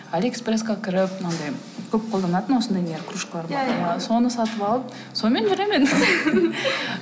алиэкспресске кіріп мынандай көп қолданатын осындай кружкалар болады иә иә соны сатып алып сонымен жүремін енді